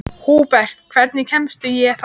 Húbert, hvernig kemst ég þangað?